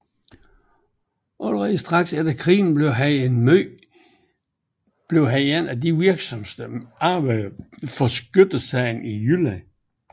Allerede straks efter krigen blev han en af de virksomste arbejdere for skyttesagen i Jylland